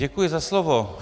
Děkuji za slovo.